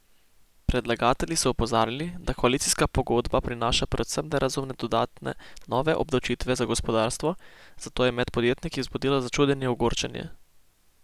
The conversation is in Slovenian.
Predlagatelji so opozarjali, da koalicijska pogodba prinaša predvsem nerazumne dodatne nove obdavčitve za gospodarstvo, zato je med podjetniki vzbudila začudenje in ogorčenje.